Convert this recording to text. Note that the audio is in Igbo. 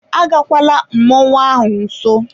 Agakwala mmọnwụ ahụ nso!